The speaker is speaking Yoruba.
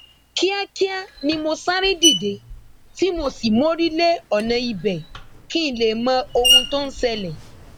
kíákíá ni mo sáré dìde tí mo sì mórí lé ọnà ibẹ kí n lè mọ ohun tó ń ṣẹlẹ